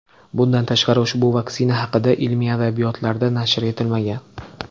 Bundan tashqari, ushbu vaksina haqida ilmiy adabiyotlarda nashr etilmagan.